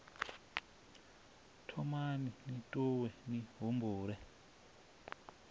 thomani ni ṱuwe ni humbule